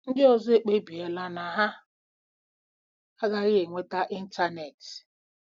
Ndị ọzọ ekpebiela na ha agaghị enweta ịntanetị.